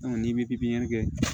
n'i bɛ pipiniyɛri kɛ